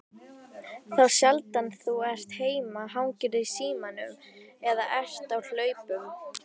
Þá sjaldan þú ert heima hangirðu í símanum eða ert á hlaupum.